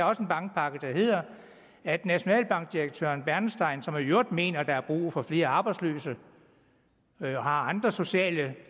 også en bankpakke der hedder at nationalbankdirektør bernstein som i øvrigt mener at der er brug for flere arbejdsløse han har andre sociale